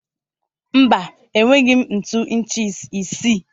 Mba, enweghị m ntu inchi isii.